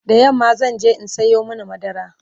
da yamma zanje in Sayo mana madara